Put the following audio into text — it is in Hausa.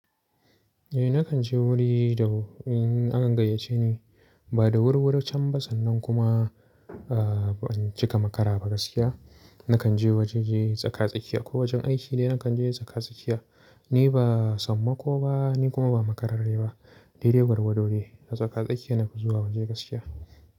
Eh nakan je wuri da in an gayyace ni ba da wuri wuri can ba sannan kuma ban cika makara ba gaskiya nakan je wajaje tsaka-tsakiya ko wajen aiki ne nakan je tsaka-tsakiya. Ni ba samma ko ba ni kuma ba makararre ba. Dai dai gwargwado dai a tsaka-tsakiya nake zuwa wajen gaskiya.